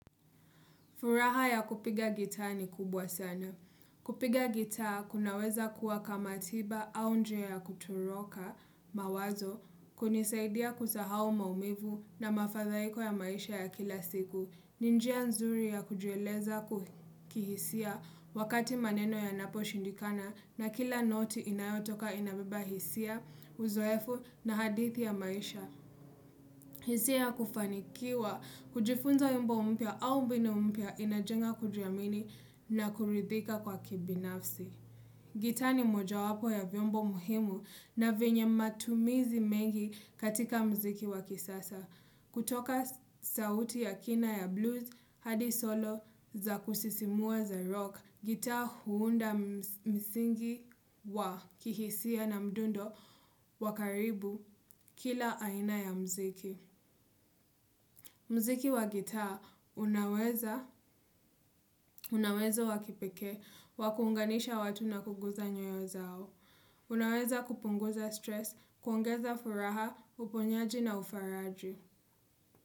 Furaha ya kupiga gitaa ni kubwa sana. Kupiga gitaa kunaweza kuwa kama tiba au njia ya kutoroka mawazo, kunisaidia kusahau maumivu na mafadhaiko ya maisha ya kila siku. Ni njia nzuri ya kujieleza kihisia wakati maneno ya napo shindikana na kila noti inayotoka inabeba hisia, uzoefu na hadithi ya maisha. Hisia ya kufanikiwa, kujifunza wimbo mpya au mbinu mpya inajenga kujiamini na kuridhika kwa kibinafsi. Gitaa ni moja wapo ya vyombo muhimu na vyenye matumizi mengi katika mziki wa kisasa. Kutoka sauti ya kina ya blues, hadi solo, za kusisimua za rock. Gitaa huunda msingi wa kihisia na mdundo wakaribu kila aina ya mziki. Muziki wa gitaa, unaweza, unauwezo wa kipekee, wakuunganisha watu na kuguza nyoyo zao. Unaweza kupunguza stress, kuongeza furaha, uponyaji na ufaraji.